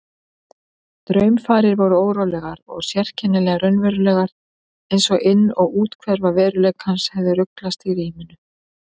Draumfarir voru órólegar og sérkennilega raunverulegar einsog inn- og úthverfa veruleikans hefðu ruglast í ríminu.